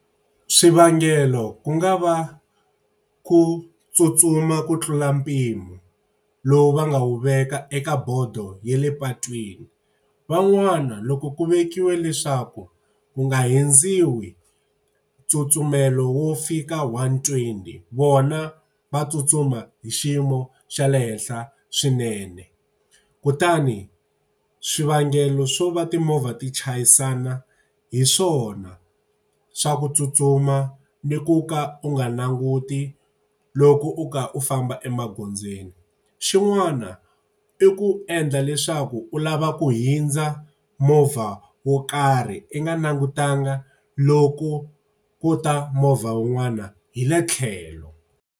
Swivangelo ku nga va ku tsutsuma ku tlula mpimo lowu va nga wu veka eka bodo ya le patwini. Van'wana loko ku vekiwa leswaku wu nga hundziwi tsutsumela wo fika one twenty vona va tsutsuma hi xiyimo xa le henhla swinene. Kutani swivangelo swo va timovha ti chayisana hi swona, swa ku tsutsuma ni ku ka u nga languti loko u ka u famba emagondzweni. Xin'wana i ku endla leswaku u lava ku hundza movha wo karhi i nga langutanga loku ku ta movha wun'wana hi le tlhelo.